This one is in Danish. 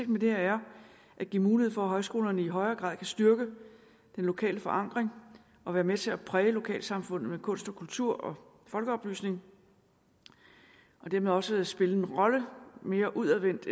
med det her er at give mulighed for at højskolerne i højere grad kan styrke den lokale forankring og være med til at præge lokalsamfundet med kunst og kultur og folkeoplysning og dermed også spille en mere udadvendt